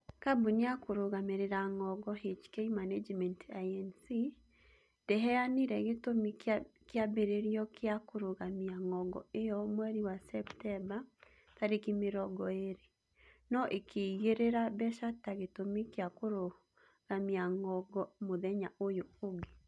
Kambuni ya kũrũgamĩrĩra ng'ongo, HK Management Inc., ndĩheanire gĩtũmi kĩambĩrĩrio gĩa kũrũgamia ng'ongo ĩyo mweri wa Septemba tarĩki mĩrongo ĩĩrĩ, no ĩkĩigĩrĩra mbeca ta gitũmi kĩa kũrũgamia ng'ongo mũthenya ũyũ ũngĩ.